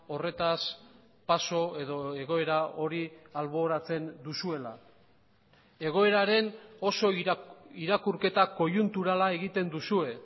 horretaz paso edo egoera hori alboratzen duzuela egoeraren oso irakurketa koiunturala egiten duzue